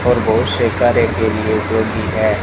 और बहुत से कार्य के लिए डॉगी है।